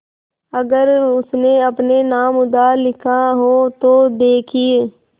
अगर उसने अपने नाम उधार लिखा हो तो देखिए